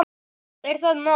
Er það nóg?